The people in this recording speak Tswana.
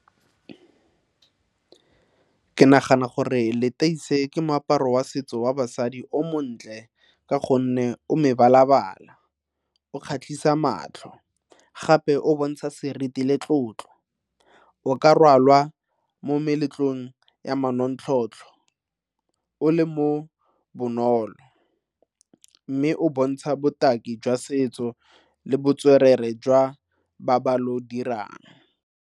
Ke nagana gore leteisi ke moaparo wa setso wa basadi o montle ka gonne o mebala-bala, o kgatlhisa matlho gape o bontsha seriti le tlotlo. O ka rwala mo meletlong ya manontlhotlho o le mo bonolo mme o bontsha botaki jwa setso le botswerere jwa ba ba ilo dirang.